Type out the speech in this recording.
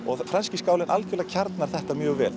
franski skálinn kjarnar þetta mjög vel